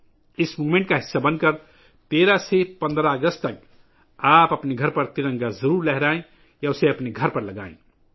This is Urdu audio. اس تحریک کا حصہ بن کر 13 سے 15 اگست تک، آپ اپنے گھر پر ترنگا ضرور لہرائیں یا اسے اپنے گھر پر لگائیں